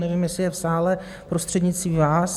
Nevím, jestli je v sále, prostřednictvím vás.